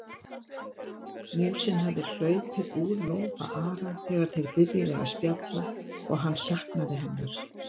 Músin hafði hlaupið úr lófa Ara þegar þeir byrjuðu að spjalla og hann saknaði hennar.